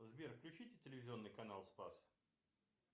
сбер включите телевизионный канал спас